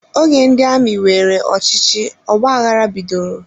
Oge ndị amị weere ọchịchị, ọgbaghara bidoro